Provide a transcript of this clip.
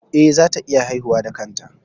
Eh, za ta iya haihuwa da kanta